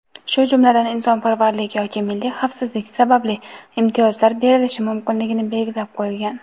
shu jumladan "insonparvarlik yoki milliy xavfsizlik sababli" imtiyozlar berishi mumkinligi belgilab qo‘yilgan.